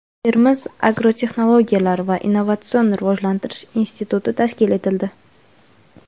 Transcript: Termiz agrotexnologiyalar va innovatsion rivojlanish instituti tashkil etildi.